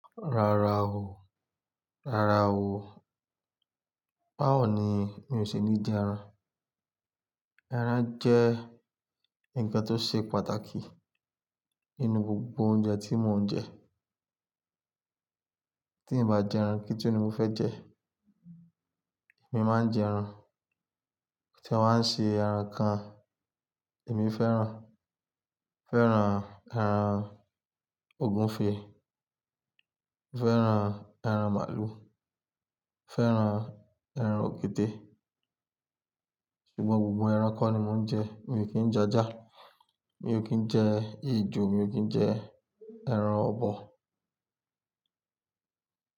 Rárá o, rárá o. Báwo ni mi ò ṣe níí jẹ ẹran? Ẹran jẹ́ nǹkan tó ṣe pàtàkì nínú gbogbo oúnjẹ tí mon jẹ. Tí n bá jẹ ẹran kí tu ni mo fẹ jẹ. Èmi máa ń jẹ ẹran, kotí ewa á ṣe ẹran kan èmi fẹ́ràn. Mo fẹ́ràn ẹran ògúnfe, mo fẹ́ràn ẹran màlúù, mo fẹ́ràn ẹran òkété. Ṣùgbọ́n gbogbo ẹranko ni mo ń jẹ, mi ò kí ń jẹ ajá, mi ò kí ń jẹ ejó, mi ò kí ń jẹ ẹran ọ̀bọ.